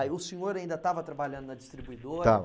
Aí o senhor ainda estava trabalhando na distribuidora? estava